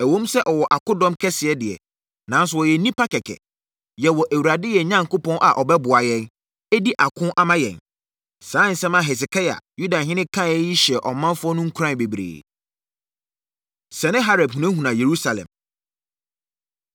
Ɛwom sɛ ɔwɔ akodɔm kɛseɛ deɛ, nanso wɔyɛ nnipa kɛkɛ. Yɛwɔ Awurade, yɛn Onyankopɔn a ɔbɛboa yɛn, adi ako ama yɛn.” Saa nsɛm a Hesekia, Yudahene kaeɛ yi hyɛɛ ɔmanfoɔ no nkuran bebree. Senaherib Hunahuna Yerusalem